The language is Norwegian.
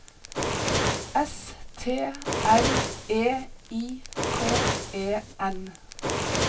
S T R E I K E N